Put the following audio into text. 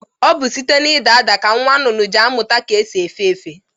Ọ bụ site n'ịda ada ka nwa nnụnụ ji amụta ka esi efe efe.